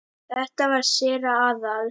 Þetta var séra Aðal